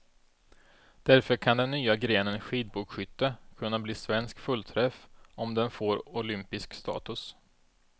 Därför kan den nya grenen skidbågskytte kunna bli svensk fullträff, om den får olympisk status.